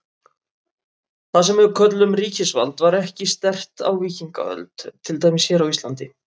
Það sem við köllum ríkisvald var ekki sterkt á víkingaöld, til dæmis hér á Íslandi.